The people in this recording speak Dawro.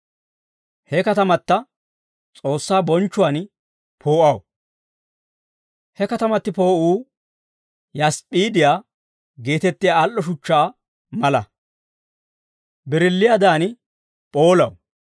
He katamata S'oossaa bonchchuwaan poo'aw. He katamati poo'uu yasp'p'iidiyaa geetettiyaa al"o shuchchaa mala; birilliiyaadan p'oolaw.